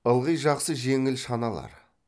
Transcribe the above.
ылғи жақсы жеңіл шаналар